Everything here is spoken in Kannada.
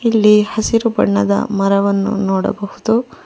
ಇಲ್ಲಿ ಹಸಿರು ಬಣ್ಣದ ಮರವನ್ನು ನೋಡಬಹುದು.